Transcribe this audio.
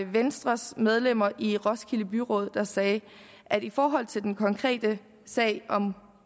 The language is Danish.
venstres medlemmer i roskilde byråd der sagde at i forhold til den konkrete sag